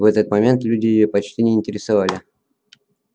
в этот момент люди её почти не интересовали